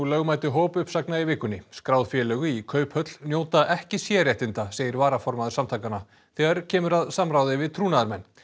lögmæti hópuppsagna í vikunni skráð félög í Kauphöll njóta ekki sérréttinda segir varaformaður samtakanna þegar kemur að samráði við trúnaðarmenn